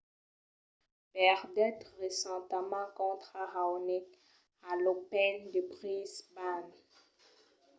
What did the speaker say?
perdèt recentament contra raonic a l’open de brisbane